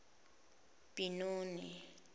binoni